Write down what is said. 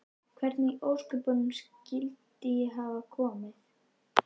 Hvernig í ósköpunum skyldi ég hafa komið